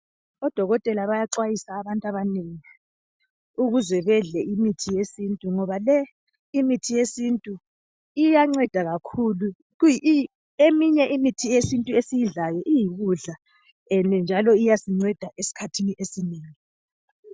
Odokotela bayaxwayisa abantu abanengi, ukuze bedle imithi yesintu, ngoba le imithi yesintu iyanceda kakhulu. Eminye imithi yesintu esiyidlayo iyikudla njalo iyasinceda esikhathini esinengi.